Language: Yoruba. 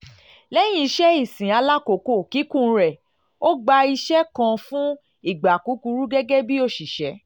lẹ́yìn iṣẹ́ ìsìn alákòókò kíkún rẹ̀ ó gba iṣẹ́ kan fún ìgbà kúkúrú gẹ́gẹ́ bí òṣìṣẹ́